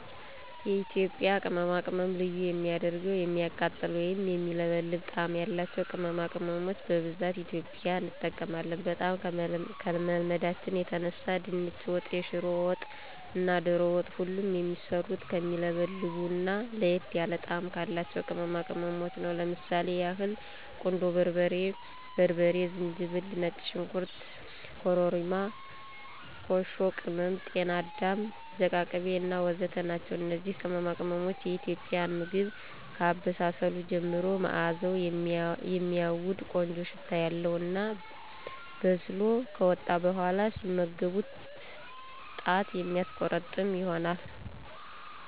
የኢትዬጵያ ቅመማቅመም ልዩ የሚያደርገዉ የሚያቃጥል ወይም የሚለበልብ ጣም ያላቸዉ ቅመማቅመሞች በብዛት ኢትዬጵያዊን እንጠቀማለን። በጣም ከመልመዳችን የተነሳ ድንች ወጥ፣ የሽሮ ወጥ እና ዶሮ ወጥ ሁሉ የሚሰሩት ከሚለበልቡ እና ለየት ያለ ጣም ካላቸው ቅመማቅመሞች ነው። ለምሳሌ ያህል ቁንዶ በርበሬ፣ በርበሬ፣ ዝንጅብል፣ ነጭ ሽንኩርት፣ ኮርሪማ፣ ኮሾ ቅም፣ ጤና አዳም ዝቃቅቤ እና ወዘተ ናቸው። እነዚህ ቅመማቅሞች የኢትዬጵያን ምግብ ከአበሳሰሉ ጀምሮ ማእዛዉ የሚያዉድ (ቆንጆ ሽታ) ያለዉ እና በስሎ ከወጣ በኋላ ሲመገቡት ጣት የሚያስቆረጥም ይሆናል።